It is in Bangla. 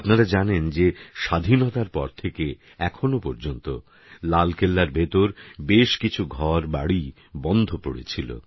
আপনারা জানেন যে স্বাধীনতার পর থেকে এখনও পর্যন্ত লালকেল্লার ভিতর বেশকিছু ঘরবাড়ি বন্ধপড়েছিল